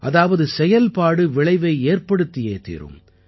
அதாவது செயல்பாடு விளைவை ஏற்படுத்தியே தீரும்